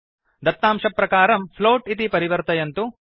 दत्तांशप्रकारं float इति परिवर्तयन्तु